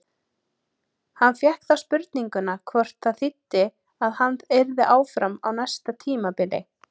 Hann fékk þá spurninguna hvort það þýddi að hann yrði áfram á næsta tímabili?